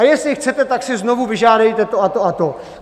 A jestli chcete, tak si znovu vyžádejte to a to a to.